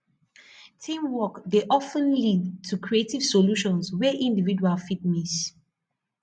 teamwork dey of ten lead to creative solutions wey individuals fit miss